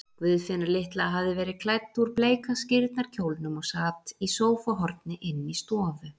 Guðfinna litla hafði verið klædd úr bleika skírnarkjólnum og sat í sófahorni inni í stofu.